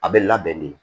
A bɛ labɛn de